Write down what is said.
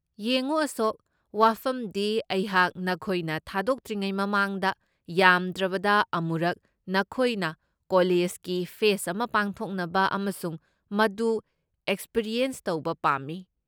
ꯌꯦꯡꯉꯨ ꯑꯁꯣꯛ, ꯋꯥꯐꯝꯗꯤ ꯑꯩꯍꯥꯛ ꯅꯈꯣꯏꯅ ꯊꯥꯗꯣꯛꯇ꯭ꯔꯤꯉꯩ ꯃꯃꯥꯡꯗ ꯌꯥꯝꯗ꯭ꯔꯕꯗ ꯑꯃꯨꯔꯛ ꯅꯈꯣꯏꯅ ꯀꯣꯂꯦꯖꯒꯤ ꯐꯦꯁꯠ ꯑꯃ ꯄꯥꯡꯊꯣꯛꯅꯕ ꯑꯃꯁꯨꯡ ꯃꯗꯨ ꯑꯦꯛꯄꯤꯔꯤꯑꯦꯟꯁ ꯇꯧꯕ ꯄꯥꯝꯃꯤ꯫